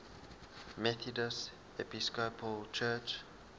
methodist episcopal church